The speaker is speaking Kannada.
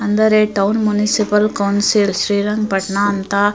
ಅಂದರೆ town municipal council Srirangapatna ಅಂತ --